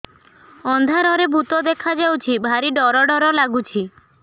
ଅନ୍ଧାରରେ ଭୂତ ଦେଖା ଯାଉଛି ଭାରି ଡର ଡର ଲଗୁଛି